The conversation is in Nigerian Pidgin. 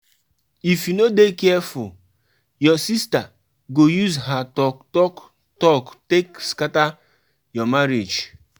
Everybody go contribute something, because holiday enjoyment na team work matter.